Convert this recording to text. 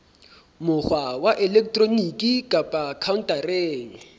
mokgwa wa elektroniki kapa khaontareng